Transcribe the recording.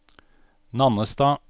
Nannestad